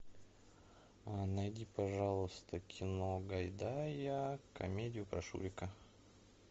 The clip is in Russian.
найди пожалуйста кино гайдая комедию про шурика